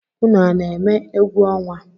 Unu a na-eme egwu ọnwa?